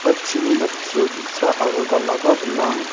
ia chini jatchio bi·sa aro dal·aba gnang.